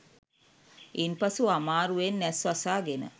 ඉන් පසු අමාරුවෙන් ඇස් වසා ගෙන